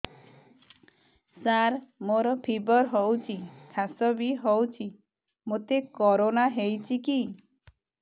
ସାର ମୋର ଫିବର ହଉଚି ଖାସ ବି ହଉଚି ମୋତେ କରୋନା ହେଇଚି କି